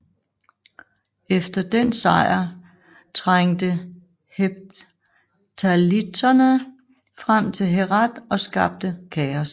Efter den sejr trængte hephthalitterne frem til Herat og skabte kaos